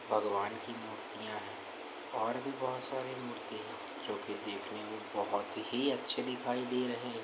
भगवान् की मूर्तियाँ है और भी बहुत सारी मूर्ति है जो की देखने में बहुत ही अच्छी दिखाई दे रहे हैं ।